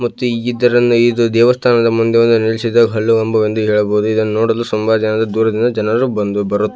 ಮತ್ತು ಇದರಲ್ಲಿ ಇದು ದೇವಸ್ಥಾನದ ಮುಂದೆ ಒಂದು ನಿಲ್ಲಿಸಿದ ಹಲ್ಲು ಗಂಬವೆಂದು ಹೇಳಬಹುದು ಇದನ್ನು ನೋಡಲು ತುಂಬಾ ಜನರು ದೂರದಿಂದ ಜನರು ಬರುತ್ತಾ --